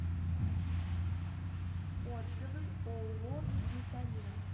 отзывы ооо виталена